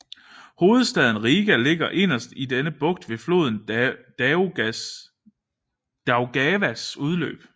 Hovedstaden Rīga ligger inderst i denne bugt ved floden Daugavas udløb